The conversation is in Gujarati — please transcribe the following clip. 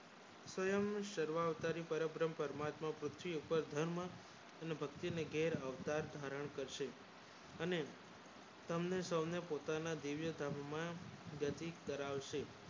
સવયં બ્રહ્મ મૂર્તિ પર ધર્મ અને ભક્તિ ના ઘેર અવતાર ધારણ કરશે અને તમને સૌને પોતાના દિવ્ય ધામમાં નજીક કરાવશે